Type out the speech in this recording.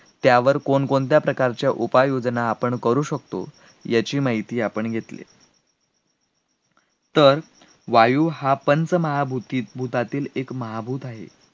त्यावर कोणकोणत्या प्रकारच्या उपाययोजना आपण करू शकतो याची माहिती आपण घेतली, तर वायू हा पंचमहाभूतीत भूतातील एक महाभूत आहे,